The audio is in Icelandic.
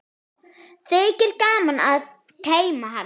Þykir gaman að teyma hann.